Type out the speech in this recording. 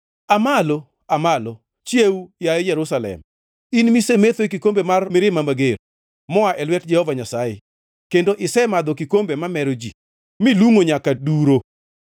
Aa malo, Aa malo! Chiew, yaye Jerusalem, in misemetho e kikombe mar mirima mager, moa e lwet Jehova Nyasaye, kendo isemadho kikombe mamero ji milungʼo nyaka duro.